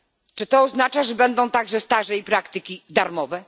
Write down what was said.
Czy to oznacza, że będą także staże i praktyki darmowe?